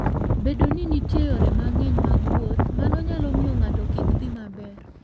Bedo ni nitie yore mang'eny mag wuoth, mano nyalo miyo ng'ato kik dhi maber.